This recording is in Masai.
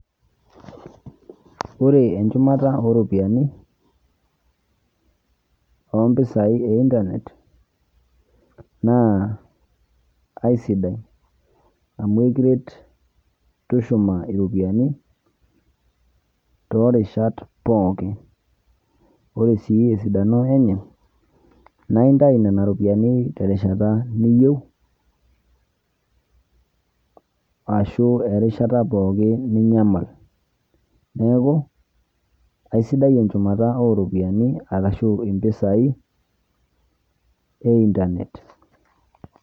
Ore enchumata oropiyiani ompisai e internet naa aisidai amu ekiret tushuma ropiyiani torishat pookin, ore si esidano enye na intau nona ropiyiani terishata niyieu ashu erishata pookin ninyamal, neaku aisidai enchumata oropiyiani ashu mpisai e internet.